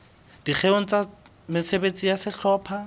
dikgeong tsa mesebetsi ya sehlopha